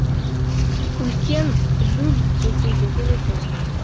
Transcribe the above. үлкен люль ресейдегі өзен